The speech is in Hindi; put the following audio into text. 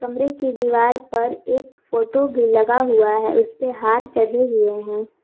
कमरे के दीवार पर एक फोटो भी लगा हुआ है उसे पर हार चढ़े हुए हैं।